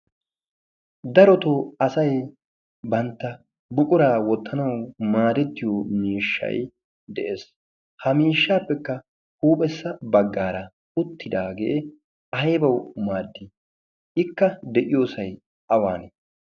Darotoo asay bantta buquraa wottanawu maarettiyo miishshay de'ees. Ha miishshaappekka huuphessa baggaara uttidaagee aybawu maaddii? Ikka de'iyoosay awane?